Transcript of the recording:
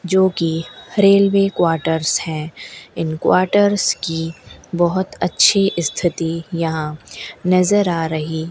जो कि railway quarters हैं इन क्वार्टर्स की बहोत अच्छी स्थिति यहां नजर आ रही--